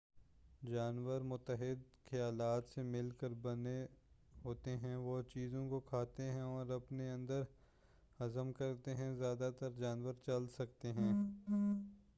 جانور متعدد خلیات سے مل کر بنے ہوتے ہیں وہ چیزوں کو کھاتے ہیں اور اپنے اندر ہضم کرتے ہیں زیادہ تر جانور چل سکتے ہیں